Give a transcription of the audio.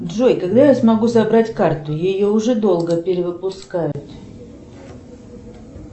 джой когда я смогу забрать карту ее уже долго перевыпускают